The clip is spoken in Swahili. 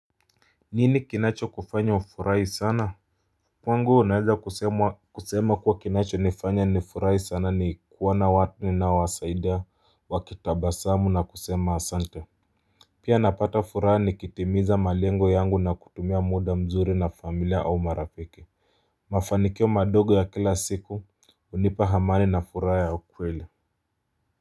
Nini kinachokufanya ufurahi sana? Kwangu naweza kusema kuwa kinachonifanya nifurahi sana ni kuona watu ninaowasaidia wakitabasamu na kusema asante pia napata furaha nikitimiza malengo yangu na kutumia muda mzuri na familia au marafiki. Mafanikio madogo ya kila siku hunipa amani na furaha ya ukweli.